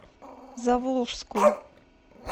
заволжску